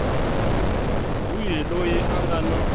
wihi loyi a nga na